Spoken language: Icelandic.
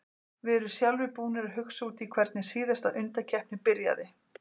Við erum sjálfir búnir að hugsa út í hvernig síðasta undankeppni byrjaði.